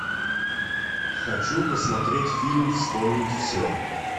хочу посмотреть фильм вспомнить все